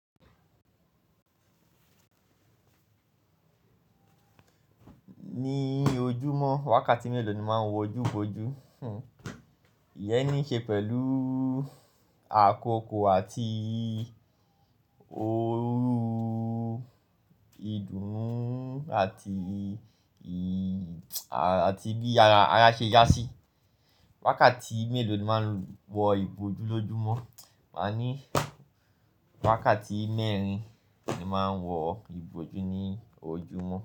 Ní ojúmọ́, wákàtí mélòó ni máa ń wọ ojú fojú? Iyẹn ní í ṣe pẹ̀lú àkókò àti òru, ìdùnnú àti bí ara ṣe yá síi. Wákàtí mélò ni máa ń wọ ìbojú lóojúmọ́. Ma ní wákàtí mẹ́rin ni máa ń wọ ìbojú ní ojúmọ́